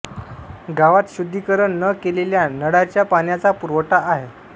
गावात शुद्धिकरण न केलेल्या नळाच्या पाण्याचा पुरवठा आहे